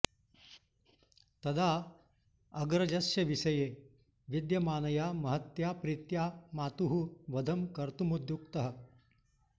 तदा अग्रजस्य विषये विद्यमानया महत्या प्रीत्या मातुः वधं कर्तुमुद्युक्तः